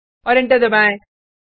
और एंटर दबाएँ